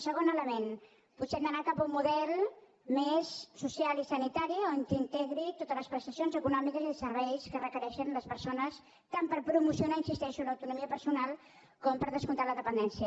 segon element potser hem d’anar cap a un model més social i sanitari que integri totes les prestacions econòmiques i serveis que requereixen les persones tant per promocionar hi insisteixo l’autonomia personal com per descomptat la dependència